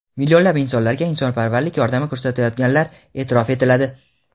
millionlab insonlarga insonparvarlik yordami ko‘rsatayotganlar eʼtirof etiladi.